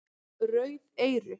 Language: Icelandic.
Rauð eyru